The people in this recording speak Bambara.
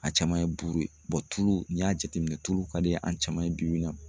A caman ye buru ye tulu n'i y'a jateminɛ tulu ka di an caman ye bibi in na